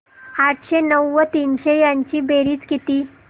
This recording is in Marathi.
आठशे नऊ व तीनशे यांची बेरीज किती